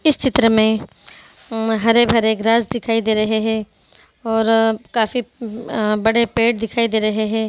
इस चित्र में अं हरे-भरे ग्रास दिखाई दे रहे है और काफी अ बड़े पेड़ दिखाई दे रहे हैं।